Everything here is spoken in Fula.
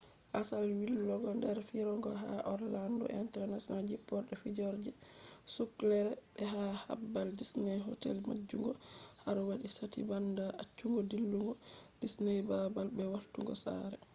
asal yillugo der firoge ha orlando international jpporde firoje ,sucklere be ha babal disney hotel majjungo har wadi sati banda accugo dillugo disney babal be wartugo sare